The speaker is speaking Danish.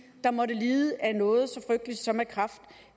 der måtte lide af noget så frygteligt som kræft